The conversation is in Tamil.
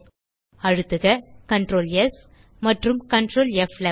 அழுத்துக CtrlS மற்றும் Ctrl ப்11